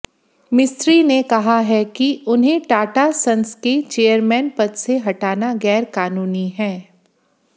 मिस्त्री ने कहा है कि उन्हें टाटा संस के चेयरमैन पद से हटाना गैरकानूनी है